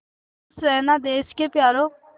खुश रहना देश के प्यारों